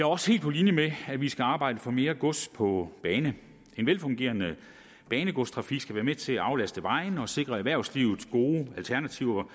også helt på linje med at vi skal arbejde for mere gods på bane en velfungerende banegodstrafik skal være med til at aflaste vejene og sikre erhvervslivet gode alternativer